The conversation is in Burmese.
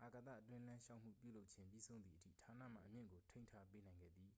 အာကာသအတွင်းလမ်းလျှောက်မှု ပြုလုပ်ခြင်း ပြီးဆုံးသည်အထိ ဌာနမှ အမြင့်ကို ထိန်းထားပေးနိုင်ခဲ့သည်